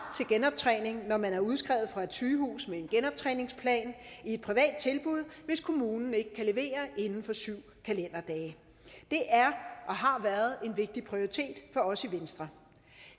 genoptræning når man er udskrevet fra et sygehus med en genoptræningsplan i et privat tilbud hvis kommunen ikke kan levere inden for syv kalenderdage det er og har været en vigtig prioritet for os i venstre